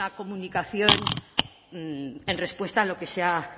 comunicación en respuesta a lo que se ha